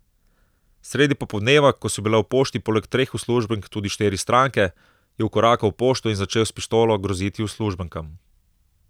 Sredi popoldneva, ko so bile v pošti poleg treh uslužbenk tudi štiri stranke, je vkorakal v pošto in začel s pištolo groziti uslužbenkam.